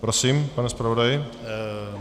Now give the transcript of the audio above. Prosím, pane zpravodaji.